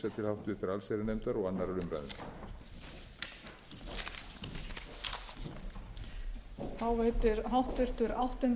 að því verði að lokinni þessari umræðu vísað til háttvirtrar allsherjarnefndar og annarrar umræðu